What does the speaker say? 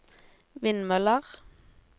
vindmøller